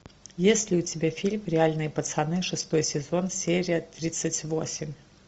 есть ли у тебя фильм реальные пацаны шестой сезон серия тридцать восемь